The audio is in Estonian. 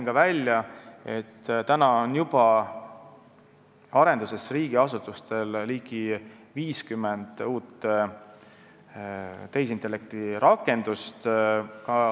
Nagu ütlesin, juba praegu on riigiasutustel arenduses ligi 50 uut tehisintellekti rakendust.